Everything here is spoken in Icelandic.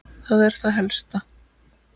Það er það helsta.